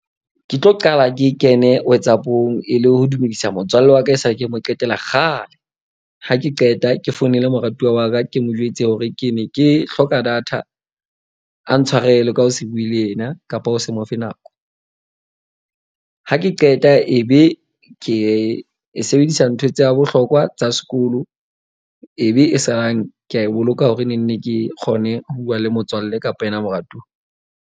Ke tlo qala ke kene WhatsApp-ong e le ho dumedisa motswalle wa ka e sale, ke mo qetela kgale. Ha ke qeta ke founele moratuwa wa ka, ke mo jwetse hore ke ne ke hloka data, a ntshwarele ka ho se bue le ena kapa o se mo fe nako. Ha ke qeta ebe ke e sebedisa ntho tsa bohlokwa tsa sekolo. Ebe e salang ke a e boloka hore nenne ke kgone ho buwa le motswallle kapa yena moratuwa.